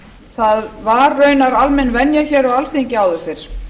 það var raunar almenn venja á alþingi áður fyrr